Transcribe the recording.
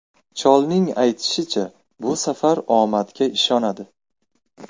Cholning aytishicha, bu safar u omadga ishonadi.